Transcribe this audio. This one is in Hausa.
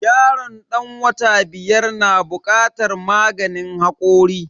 Yaron dan wata biyar na bukatar maganin hakori.